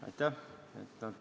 Aitäh!